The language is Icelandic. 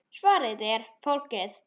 Svarið er: Fólkið.